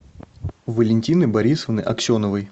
валентины борисовны аксеновой